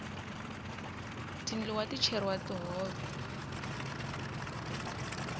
tindluwa ti cheriwa ka tihove